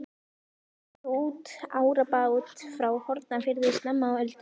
Þeir gerðu út árabát frá Hornafirði snemma á öldinni.